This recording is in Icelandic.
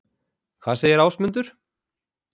Hvað segir Ásmundur?